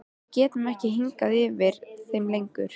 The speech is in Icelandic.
Við getum ekki hangið yfir þeim lengur.